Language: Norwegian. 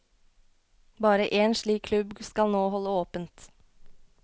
Bare én slik klubb skal nå holde åpent.